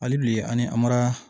Hali bi ani amara